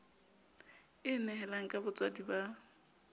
e nehelang ka botswadi ba